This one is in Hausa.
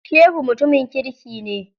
Shehu mutumin kirki ne.